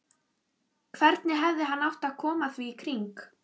Hvernig hefði hann átt að koma því í kring?